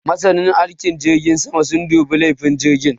Masanan aikin jirgin sama sun dubi lafiyan jirgin